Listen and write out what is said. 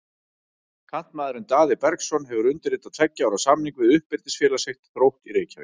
Kantmaðurinn Daði Bergsson hefur undirritað tveggja ára samning við uppeldisfélag sitt, Þrótt í Reykjavík.